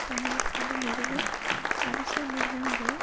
தங்களுக்காக நிறுவும் அரசியல் நிறுவனங்களின்